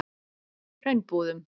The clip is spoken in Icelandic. Hraunbúðum